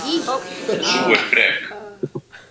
Sú er frek.